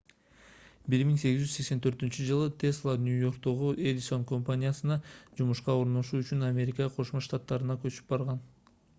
1884-жылы тесла нью-йорктогу эдисон компаниясына жумушка орношуу үчүн америка кошмо штаттарына көчүп барган